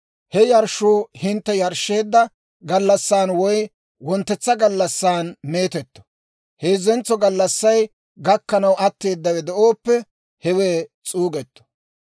He yarshshuu hintte yarshsheedda gallassan woy wonttetsa gallassan meetetto; heezzentso gallassay gakkanaw atteedawe de'ooppe hewe s'uugetto.